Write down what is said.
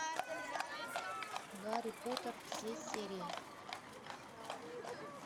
гарри поттер все серии